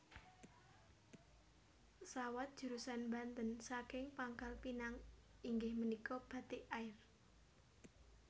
Pesawat jurusan Banten saking Pangkal Pinang inggih menika Batik Air